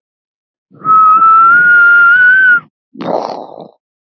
Við sigldum áfram.